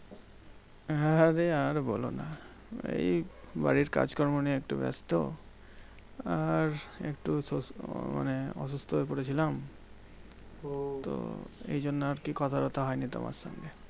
আরে আর বোলো না? এই বাড়ির কাজ কর্ম নিয়ে একটু ব্যস্ত। আর একটু সুস্থ মানে অসুস্থ হয়ে পড়ে ছিলাম, তো এইজন্য আরকি কথা টথা হয়নি তোমার সঙ্গে।